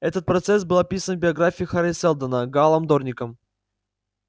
этот процесс был описан в биографии хари сэлдона гаалом дорником